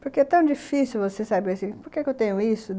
Porque é tão difícil você saber assim, por que eu tenho isso?